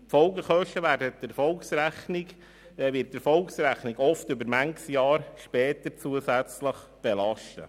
Die Folgekosten werden die Erfolgsrechnung oft noch manches Jahr später belasten.